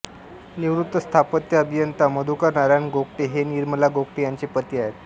निवृत्त स्थापत्य अभियंता मधुकर नारायण गोगटे हे निर्मला गोगटे यांचे पती आहेत